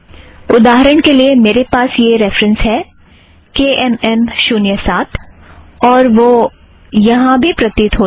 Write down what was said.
उदाहरण के लिए मेरे पास यह रेफ़रन्स है - के एम एम शुन्य साथ और वह यहाँ भी प्रतीत होता है